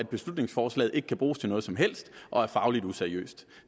beslutningsforslaget ikke kan bruges til noget som helst og er fagligt useriøst